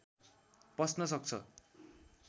पस्न सक्छ